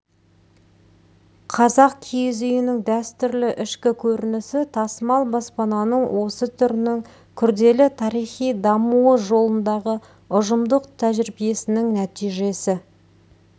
қазақ киіз үйінің дәстүрлі ішкі көрінісі тасымал баспананың осы түрінің күрделі тарихи дамуы жолындағы ұжымдық тәжірибесінің нәтижесі